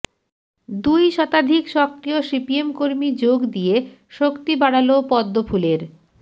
দুই শতাধিক সক্রিয় সিপিএম কর্মী যোগ দিয়ে শক্তি বাড়াল পদ্মফুলের